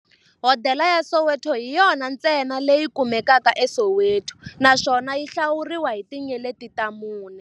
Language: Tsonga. Hodela ya Soweto hi yona ntsena leyi kumekaka eSoweto, naswona yi hlawuriwa hi tinyeleti ta mune.